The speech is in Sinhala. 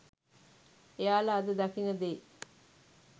එයාල අද දකින දේ